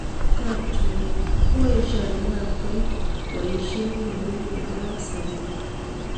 Kapnchorwa:koesio ainabkoi kweisiet nemining nebo�kabsabet